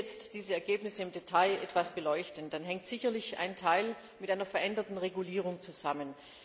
Wenn wir jetzt diese Ergebnisse im Detail etwas beleuchten, dann hängt sicherlich ein Teil mit einer veränderten Regulierung zusammen.